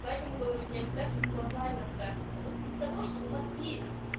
поэтому говорю не обязательно глобально тратится вот из того что у вас есть